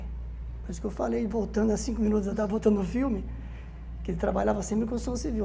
Por isso que eu falei, voltando a cinco minutos, voltando o filme, que ele trabalhava sempre com construção civil.